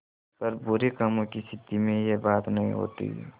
पर बुरे कामों की सिद्धि में यह बात नहीं होती